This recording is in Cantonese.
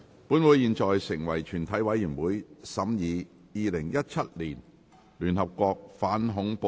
本會現在成為全體委員會，審議《2017年聯合國條例草案》。